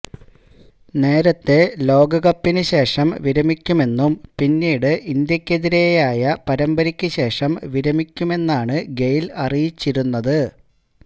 നേരത്തെ ലോകകപ്പിനുശേഷം വിരമിക്കുമെന്നും പിന്നീട് ഇന്ത്യയ്ക്കെതിരായ പരമ്പരയ്ക്കുശേഷം വിരമിക്കുമെന്നാണ് ഗെയ്ല് അറിയിച്ചിരുന്നത്